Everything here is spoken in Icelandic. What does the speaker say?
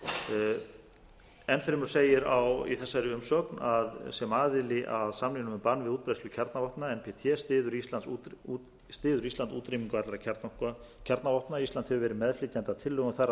efa enn fremur segir í þessari umsögn að sem aðili að samningnum um bann við útbreiðslu kjarnavopna nb t styður ísland útrýmingu allra kjarnavopna ísland hefur verið meðflytjandi að tillögum þar að lútandi á allsherjarþingi